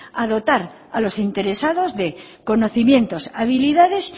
a dotar a los interesados de conocimientos habilidades